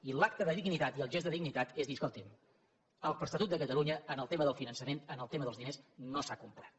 i l’acte de dignitat i el gest de dignitat és dir escoltin l’estatut de catalunya en el tema del finançament en el tema dels diners no s’ha complert